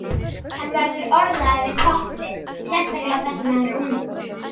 Hann verður orðaður við topplið, sérstaklega þar sem hann er ungur.